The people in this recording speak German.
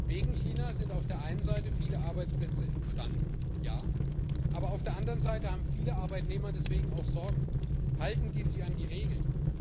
Wegen China sind auf der einen Seite viele Arbeitsplätze entstanden, ja, aber auf der anderen Seite haben viele Arbeitnehmer deswegen auch Sorgen Halten die sich an die Regeln?